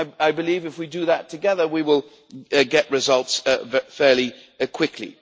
I believe if we do that together, we will get results fairly quickly.